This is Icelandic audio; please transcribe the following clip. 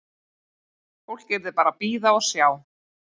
Fólk yrði bara að bíða og sjá.